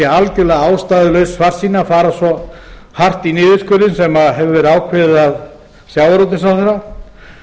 algjörlega ástæðulaus svartsýni að fara svo hart í niðurskurðinn sem hefur verið ákveðið af sjávarútvegsráðherra og